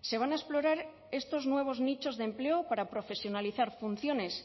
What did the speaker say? se van a explorar estos nuevos nichos de empleo para profesionalizar funciones